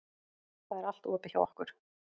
Það er allt opið hjá okkur.